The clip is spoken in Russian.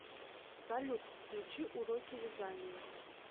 салют включи уроки вязания